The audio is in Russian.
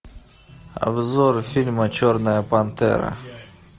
обзор фильма черная пантера